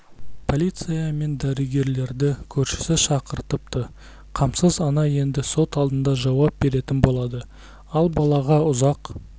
полиция мен дәрігерлерді көршісі шақыртыпты қамсыз ана енді сот алдында жауап беретін болады ал балаға ұзақ